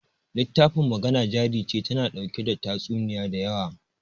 littafin Magana Jari Ce tana ɗauke da tatsuniya da yawa.